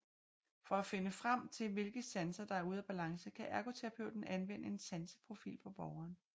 For at finde frem til hvilke sanser der er ude af balance kan ergoterapeuten anvende en sanseprofil på borgeren